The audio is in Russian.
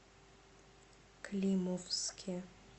климовске